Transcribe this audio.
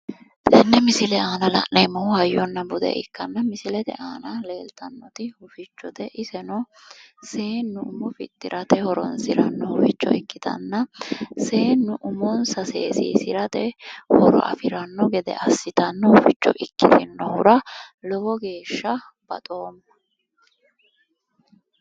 tenne misile aana la'neemmohu hayyonna bude ikkanna misilete aana leeltannoti hufichote iseno seennu umo fixxirate horonsiranno huficho ikkitanna seennu umonsa seesiisirate horo afiranna gede assitanno huficho ikkitinohura lowo geeshsha baxomma.